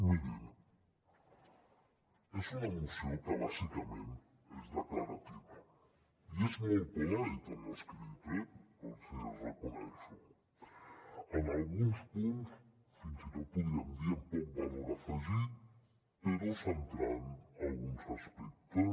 mirin és una moció que bàsicament és declarativa i és molt polite en l’escrit eh els hi reconec en alguns punts fins i tot podríem dir amb poc valor afegit però centrant alguns aspectes